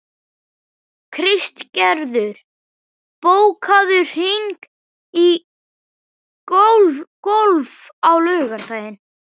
Kristgerður, bókaðu hring í golf á laugardaginn.